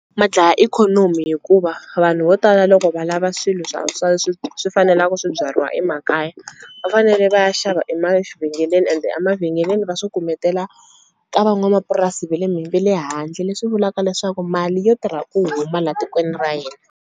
Ma dlaya ikhonomi hikuva vanhu vo tala loko va lava swilo swa swa swi swi fanelaku swi byariwa emakaya va fanele va ya xava emavhengeleni ende a mavhengeleni va swi kumetela ka van'wamapurasi ve le ve le handle leswi vulaka leswaku mali yo tirha ku huma la tikweni ra hina.